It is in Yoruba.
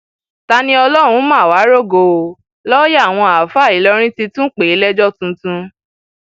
taníọlọrun mà wàá rògo o lọọyà àwọn àáfàá ìlọrin ti tún pè é lẹjọ tuntun